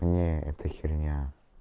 не это херня